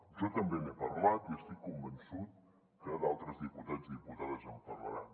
jo també n’he parlat i estic convençut que d’altres diputats i diputades en parlaran